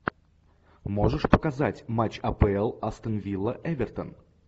можешь показать матч апл астон вилла эвертон